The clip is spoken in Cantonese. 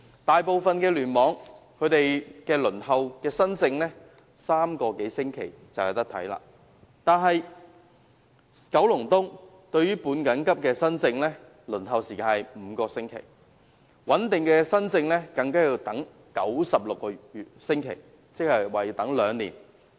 大部分聯網的新症輪候時間為3個多星期，但九龍東的半緊急新症輪候時間則為5個星期，穩定的新症更要輪候96個星期，即接近兩年。